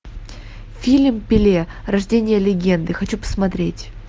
фильм пеле рождение легенды хочу посмотреть